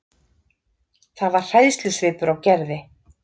Það var hræðslusvipur á Gerði.